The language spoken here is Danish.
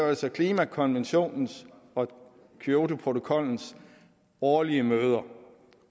altså klimakonventionens og kyotoprotokollens årlige møder